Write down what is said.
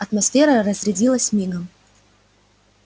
атмосфера разрядилась мигом